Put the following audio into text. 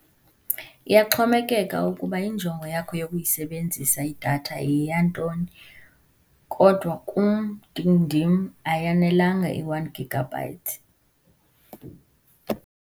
Iyaxhomekeka ukuba injongo yakho yokuyisebenzisa idatha yeyantoni, kodwa kum ndindim ayanelanga i-one gigabyte.